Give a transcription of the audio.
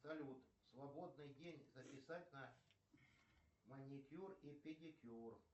салют свободный день записать на маникюр и педикюр